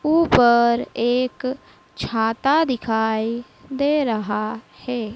ऊपर एक छाता दिखाई दे रहा है।